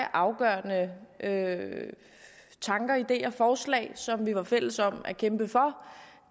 afgørende tanker og ideer og forslag som vi var fælles om at kæmpe for